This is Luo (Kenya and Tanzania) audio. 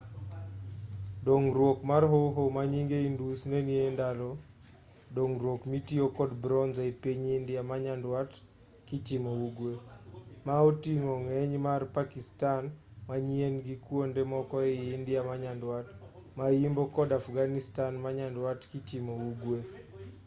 dongruok mar hoho manyinge indus nenie endalo dongruok mitiyo kod bronze e i piny india manyandwat kichimo ugwe ma oting'o ng'eny mar pakistan manyien gi kuonde moko ei india manyandwat mayimbo kod afghanistan manyandwat kichimo ugwe